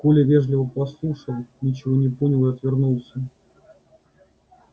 коля вежливо послушал ничего не понял и отвернулся